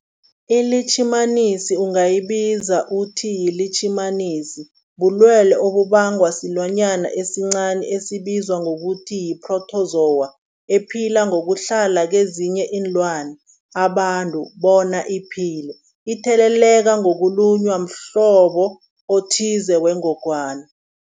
iLitjhimanisi ungayibiza uthiyilitjhimanisi, bulwelwe obubangwa silwanyana esincani esibizwa ngokuthiyi-phrotozowa ephila ngokuhlala kezinye iinlwana, abantu bona iphile itheleleka ngokulunywa mhlobo othize wengogwana.